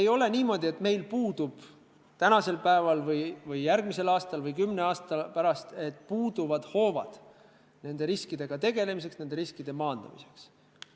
Ei ole niimoodi, et meil puuduvad täna või järgmisel aastal või kümne aasta pärast hoovad nende riskidega tegelemiseks, nende riskide maandamiseks.